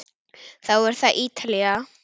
Þá er það Ítalía.